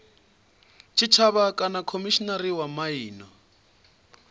tshitshavha kana khomishinari wa miano